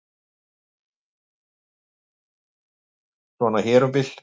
Svona hér um bil.